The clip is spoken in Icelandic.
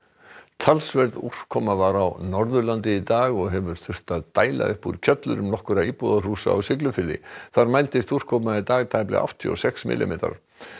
talsverð úrkoma var á Norðurlandi í dag og hefur þurft að dæla upp úr kjöllurum nokkurra íbúðarhúsa á Siglufirði þar mældist úrkoma í dag tæplega áttatíu og sex millimetrar